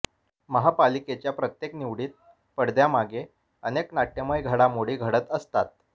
महापालिकेच्या प्रत्येक निवडीत पडद्यामागे अनेक नाट्यमय घडामोडी घडत असतात